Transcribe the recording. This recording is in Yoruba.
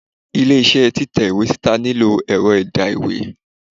ilé iṣẹ Titẹ sita nílo erò edà-ìwé